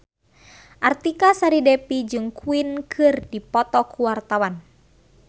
Artika Sari Devi jeung Queen keur dipoto ku wartawan